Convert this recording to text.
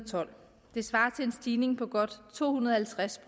tolv det svarer til en stigning på godt to hundrede og halvtreds